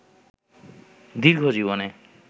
দীর্ঘ জীবনে